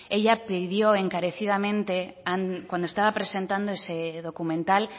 ella pidió encarecidamente cuando estaba presentando ese documental